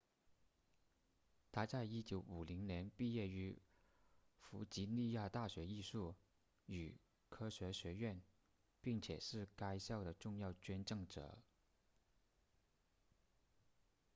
他在1950年毕业于弗吉尼亚大学艺术与科学学院并且是该校的重要捐赠者